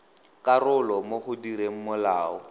karolo mo go direng molao